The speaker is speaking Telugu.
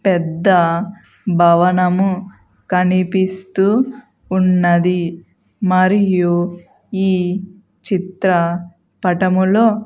పెద్ద భవనము కనిపిస్తూ ఉన్నది మరియు ఈ చిత్ర పటములో.